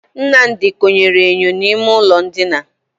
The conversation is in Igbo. Nnamdi konyere enyo n'ime ụlọ ndina.